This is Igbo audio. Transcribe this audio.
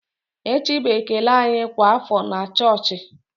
Echi bụ ekele anyị kwa afọ na chọọchị.